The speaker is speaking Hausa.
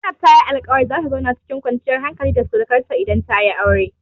Zainab ta yi alƙawarin zata zauna cikin kwanciyar hankali da surakanta idan tayi aure.